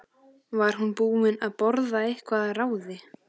Var hún búin að borða eitthvað að ráði?